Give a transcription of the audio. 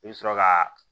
I bɛ sɔrɔ ka